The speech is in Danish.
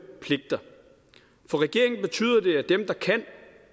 pligter for regeringen betyder